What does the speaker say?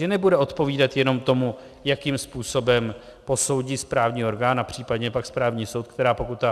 Že nebude odpovídat jenom tomu, jakým způsobem posoudí správní orgán a případně pak správní soud, která pokut